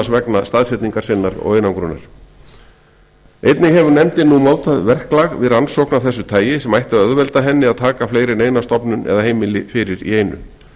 vegna einangrunar sinnar einnig hefur nefndin nú mótað verklag við rannsókn af þessu tagi sem ætti að auðvelda henni að taka fleiri en eina stofnun eða heimili fyrir í einu